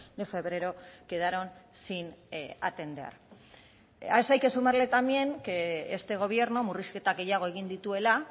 de febrero quedaron sin atender a eso hay que sumarle también que este gobierno murrizketa gehiago egin dituela